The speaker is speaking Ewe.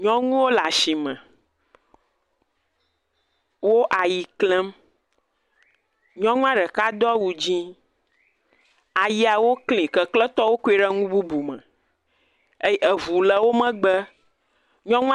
Nyɔnu o lɛ asi me. Wo ayi klɛm nyɛnu a dɔka do wu dzi. ayawo kli kekle to wo kui lɛ nu bubu mɛ